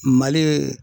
Mali